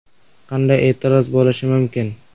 Qanday e’tiroz bo‘lishi mumkin?!